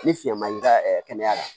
Ni fiɲɛ ma y'i ka kɛnɛya la